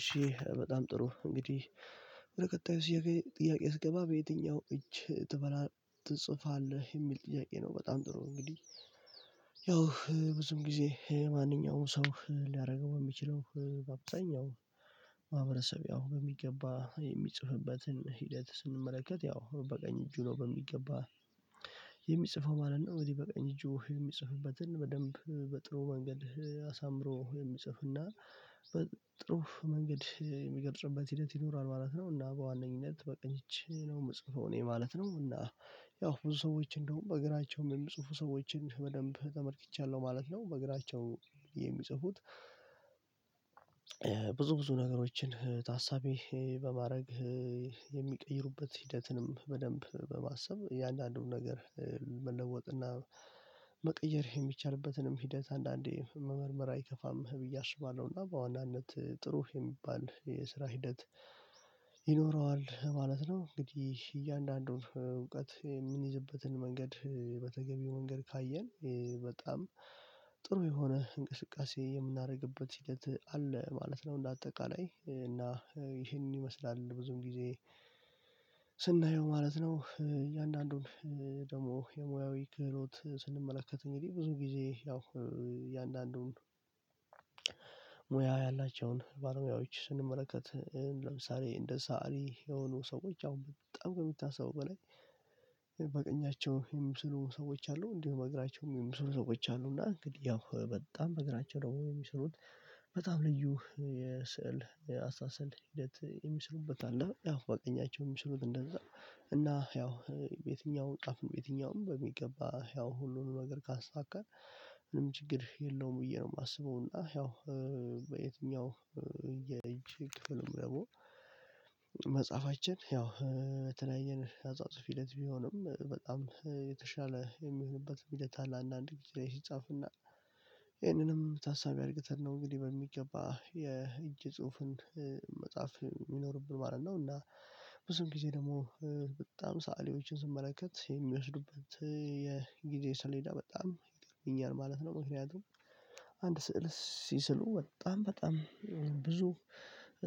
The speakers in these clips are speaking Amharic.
እሺ በጣም ጥሩ። እንግዲህ ወደ ቀጣዩ ጥያቄ ስገባ በየትኛው እጅ ትበላ ትጽፋለህ? የሚል ጥያቄ ነው በጣም ጥሩ። እንግዲህ ያው ብዙውን ጊዜ ይሄ ማንኛውም ሰው ሊያደርገው የሚችለው አብዛኛው ማህበረሰብ ያው በሚገባ የሚጽፍበትን ሂደት ስንመለከት ያው በቀኝ እጁ ነው በሚገባ የሚጽፈው ማለት ነው። እንግዲህ በቀኝ እጁ የሚጽፍበትን በደንብ በጥሩ መንገድ አሳምሮ የሚጽፍና በጥሩ መንገድ የሚገልጽበት ሂደት ይኖራል ማለት ነው። እና በዋነኝነት በቀኝች ነው የምጽፈው እኔ ማለት ነው። እና ያው ብዙ ሰዎች እንደውም በግራቸውም የሚጽፉ ሰዎችን በደንብ ተመልክቻለሁ ማለት ነው። በግራቸው የሚጽፉት ብዙ ብዙ ነገሮችን ታሳቤ በማድረግ ሂደትንም በደንብ በማሰብ የእያንዳንዱን ነገር መለወጥና መቀየር የሚቻልበትንም ሂደት አንዳንዴ መመርመር አይከፋም ብዬ አስባለሁ። እና በዋናነት ጥሩ የሚባል የስራ ሂደት ይኖረዋል ማለት ነው። እንግዲህ እያንዳንዱን እውቀት የምንይዝበትን መንገድ በተገቢ መንገድ ካየን በጣም ጥሩ የሆነ እንቅስቃሴ የምናደርግበት ሂደት አለ ማለት ነው። እንደ አጠቃላይ እና ይሄን ይመስላል። ብዙም ጊዜ ስናየው ማለት ነው። እያንዳንዱን ደግሞ የሙያዊ ክህሎት ስንመለከት እንግዲህ ብዙ ጊዜ ያው የእያንዳንዱን ሙያ ያላቸውን ባለሙያዎች ስንመለከት ለምሳሌ እንደ ሰአሊ የሆኑ ሰዎች አሁን በጣም ከሚታሰበው በላይ በቀኛቸው የሚስሉ ሰዎች አሉ። እንዲሁም በግራቸው የሚስሉ ሰዎች አሉ። እና እንግዲህ ያው በጣም በግራቸው ደግሞ የሚስሉት በጣም ልዩ የስዕል አሳሰል ሂደት የሚስሩበት አለ። ያው ዋቀኛቸው ይሉታል እንደዛ እና ያው በየትኛው ጣፍን በየትኛውም በሚገባ ያው ሁሉንም ነገር ካስተካከልን ምንም ችግር የለውም ብዬ ነው የማስበው። እና ያው በየትኛው የእጅ ክፍልም ደግሞ መጻፋችን ያው የተለያየን አጻጽፊ ሂደት ቢሆንም በጣም የተሻለ የሚሆንበት ሂደት አለ አንዳንድ ጊዜ ሲጻፍና ይህንንም ታሳቢ አርገተን ነው እንግዲህ በሚገባ የእጅ ጽሁፍን መጻፍ የሚኖርብን ማለት ነው። እና ብዙም ጊዜ ደግሞ በጣም ሰአሊዎችን ስመለከት የሚወስዱበት የጊዜ ሰሌዳ በጣም ይገርመኛል ማለት ነው። ምክንያቱም አንድ ስዕል ሲስሉ በጣም በጣም ብዙ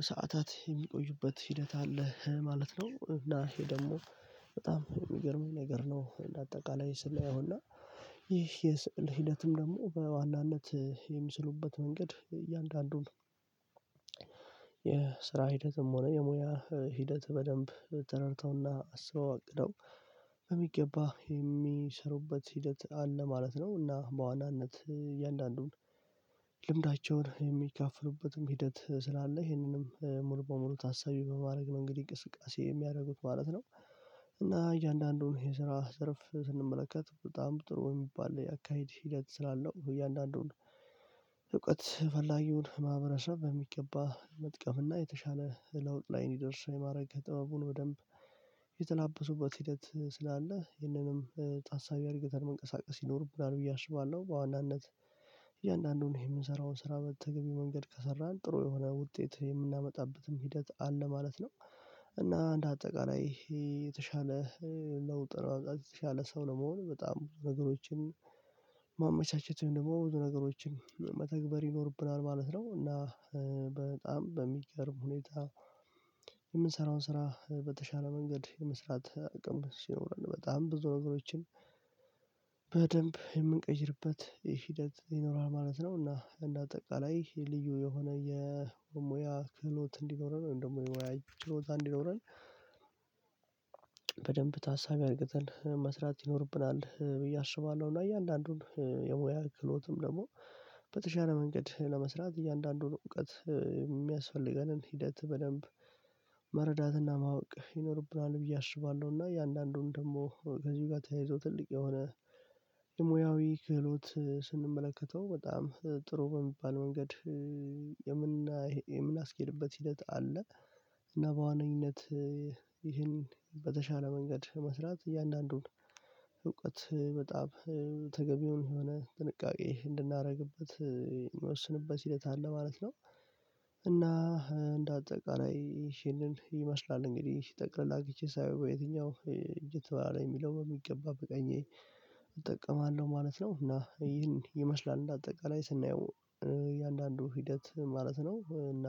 ሰዓታት የሚቆዩበት ሂደት አለህ ማለት ነው። እና ይሄ ደግሞ በጣም የሚገርመኝ ነገር ነው እንደ አጠቃላይ ስናየው እና ይህ የስዕል ሂደትም ደግሞ በዋናነት የሚስሉበት መንገድ እያንዳንዱን የስራ ሂደትም ሆነ የሙያ ሂደት በደንብ ተረድተውና አስበው አቅደው በሚገባ የሚሰሩበት ሂደት አለ ማለት ነው። እና በዋናነት የእያንዳንዱን ልምዳቸውን የሚካፈሉበትም ሂደት ስላለ ይሄንንም ሙሉ በሙሉ ታሳቢ በማድረግ ነው እንግዲህ እንቅስቃሴ የሚያደርጉት ማለት ነው። እና እያንዳንዱን የስራ ዘርፍ ስንመለከት በጣም ጥሩ የሚባል የአካሄድ ሂደት ስላለው እያንዳንዱን እውቀት ፈላጊውን ማህበረሰብ በሚገባ መጥቀምና የተሻለ ለውጥ ላይ እንዲደርሰው የማድረግ ጥበቡን በደንብ የተላበሱበት ሂደት ስላለ ይህንንም ታሳቢ አርግተን መንቀሳቀስ ይኖርብናል ብዬ አስባለሁ። በዋናነት እያንዳንዱን የምንሰራውን ስራ በተገቢው መንገድ ከሰራን ጥሩ የሆነ ውጤት የምናመጣበትም ሂደት አለ ማለት ነው። እና እንደ አጠቃላይ የተሻለ ለውጥ ለማምጣት የተሻለ ሰው ለመሆን በጣም ብዙ ነገሮችን ማመቻቸት ወይም ደግሞ ብዙ ነገሮችን መተግበር ይኖርብናል ማለት ነው። እና በጣም በሚገርም ሁኔታ የምንሰራውን ስራ በተሻለ መንገድ የመስራት አቅም ሲኖረን በጣም ብዙ ነገሮችን በደንብ የምንቀይርበት ሂደት ይኖራል ማለት ነው። እና እንደ አጠቃላይ የልዩ የሆነ የሙያ ክህሎት እንዲኖረን ወይም ደግሞ የሙያ ችሎታ እንዲኖረን በደንብ ታሳቢ አርግተን መስራት ይኖርብናል ብዬ አስባለሁ። እና እያንዳንዱን የሙያ ክሎትም ደግሞ በተሻለ መንገድ ለመስራት እያንዳንዱን እውቀት የሚያስፈልገንን ሂደት በደንብ መረዳትና ማወቅ ይኖርብናል ብዬ አስባለሁ። እና የእያንዳንዱን ደግሞ ከዚህ ጋር ተያይዞ ትልቅ የሆነ የሙያዊ ክህሎት ስንመለከተው በጣም ጥሩ በሚባል መንገድ የምናስኬድበት ሂደት አለ። እና በዋነኝነት ይህን በተሻለ መንገድ መስራት እያንዳንዱን እውቀት በጣም ተገቢውን የሆነ ጥንቃቄ እንድናደርግበት የሚወስንበት ሂደት አለ ማለት ነው። እና እንደ አጠቃላይ ይሄንን ይመስላል እንግዲህ ጠቅለል አርግቼ ሳየው በየትኛው እጅህ ትጽለህ የሚለው በሚገባ በቀኜ እጠቀማለሁ ማለት ነው። እና ይሄን ይመስላል እንደ አጠቃላይ ስናየው። የአንዳንዱ ሂደት ማለት ነው። እና